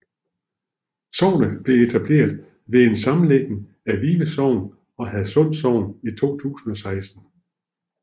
Sognet blev etableret ved en sammenlægning af Vive Sogn og Hadsund Sogn i 2016